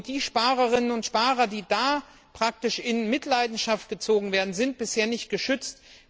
Und die Sparerinnen und Sparer, die praktisch in Mitleidenschaft gezogen werden, sind bisher nicht geschützt.